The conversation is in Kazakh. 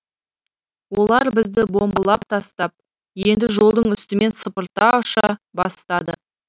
олар бізді бомбылап тастап енді жолдың үстімен сыпырта ұша бастады